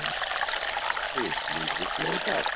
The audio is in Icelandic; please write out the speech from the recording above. Raggi, mun rigna í dag?